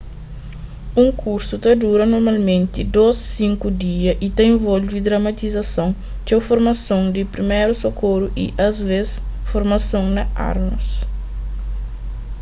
un kursu ta dura normalmenti 2-5 dia y ta involve dramatizason txeu formason di priméru sokoru y asvês formason na armas